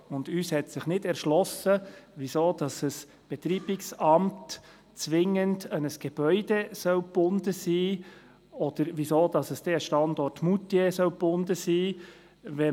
Uns hat sich nicht erschlossen, weshalb ein Betreibungsamt zwingend an ein Gebäude oder an den Standort Moutier gebunden sein soll.